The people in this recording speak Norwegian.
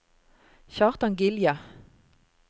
Kjartan Gilje